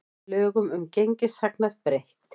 Lögum um gengishagnað breytt